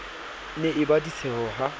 ne e ba ditsheho ha